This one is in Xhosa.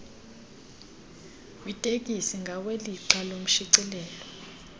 kwitekisi ngawelixa loshicilelo